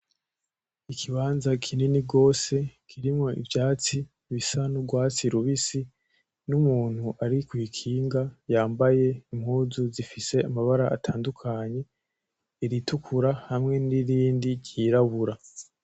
Ikibanza kinini gose kirimwo ivyatsi bisa nugwatsi rubisi, n'umuntu ari kwikinga yambaye impuzu zifise amabara atandukanye; iritukura hamwe nirindi ry'irabura.